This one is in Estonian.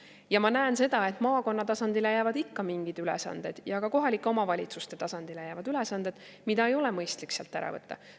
Ja ma näen seda, et maakonna tasandile jäävad ikka mingid ülesanded ja ka kohalike omavalitsuste tasandile jäävad ülesanded, mida ei ole mõistlik sealt ära võtta.